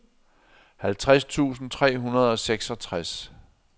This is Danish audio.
halvtreds tusind tre hundrede og seksogtres